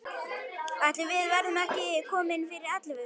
Ætli við verðum ekki komin fyrir ellefu.